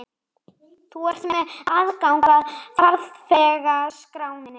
Þú ert með aðgang að farþegaskránni.